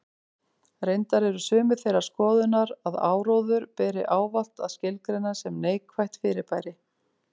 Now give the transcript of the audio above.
Reyndar eru sumir þeirrar skoðunar að áróður beri ávallt að skilgreina sem neikvætt fyrirbæri.